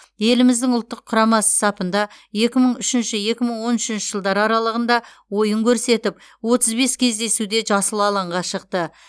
еліміздің ұлттық құрамасы сапында екі мың үшінші екі мың он үшінші жылдар аралығында ойын көрсетіп отыз бес кездесуде жасыл алаңға шықты